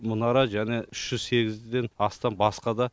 мұнара және үш жүз сегізден астам басқа да